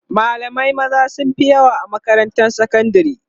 malamai maza sunfi yawa a makarantar sakandari